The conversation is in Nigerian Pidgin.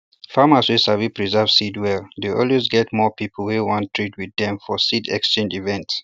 farmers wey sabi preserve seeds well dey always get more people wey wan trade with dem for seed exchange event